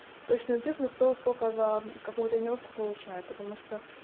точную цифру кто сколько за какую тонировку получает потому что